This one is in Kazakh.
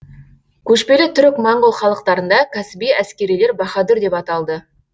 көшпелі түрік моңғол халықтарында кәсіби әскерилер баһадүр деп аталды